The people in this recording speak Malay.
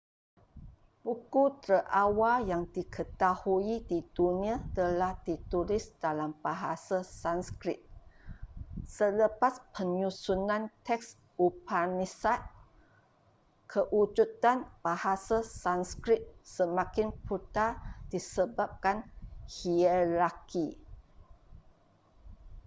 buku terawal yang diketahui di dunia telah ditulis dalam bahasa sanskrit selepas penyusunan teks upanishad kewujudan bahasa sanskrit semakin pudar disebabkan hierarki